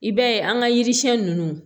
I b'a ye an ka yiri siɲɛ ninnu